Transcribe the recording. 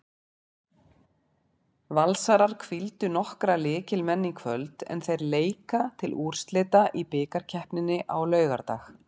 Valsarar hvíldu nokkra lykilmenn í kvöld en þær leika til úrslita í bikarkeppninni á laugardag.